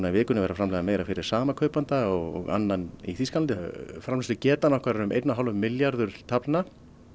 í vikunni að framleiða meira fyrir sama kaupanda og annan í Þýskalandi framleiðslugetan okkar er um einn og hálf milljarður taflna